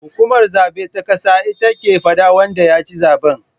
Hukumar zaben ta ƙasa ita ke faɗa wanda yaci zaben